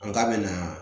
An k'a mɛna